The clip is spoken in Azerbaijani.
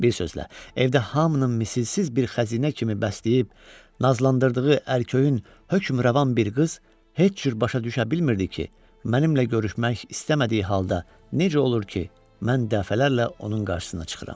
Bir sözlə, evdə hamının misilsiz bir xəzinə kimi bəsləyib, nazlandırdığı ərköyün, hökmrəvan bir qız heç cür başa düşə bilmirdi ki, mənimlə görüşmək istəmədiyi halda necə olur ki, mən dəfələrlə onun qarşısına çıxıram.